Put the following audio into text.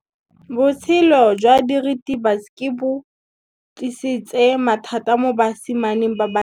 Botshelo jwa diritibatsi ke bo tlisitse mathata mo basimaneng ba bantsi.